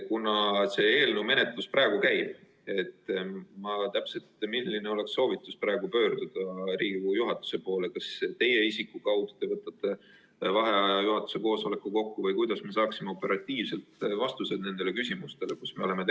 Kuna selle eelnõu menetlus praegu käib, siis ma täpselt, milline oleks praegu pöörduda Riigikogu juhatuse poole: kas teie isiku kaudu, nii et te võtate vaheaja ja kutsute juhatuse koosoleku kokku, või kuidas me saaksime operatiivselt nendele küsimustele vastused?